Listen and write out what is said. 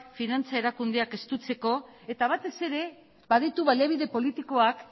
finantza erakundeak estutzeko eta batez ere baditu baliabide politikoak